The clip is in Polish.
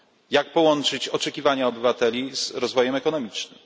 Jak połączyć oczekiwania obywateli z rozwojem ekonomicznym?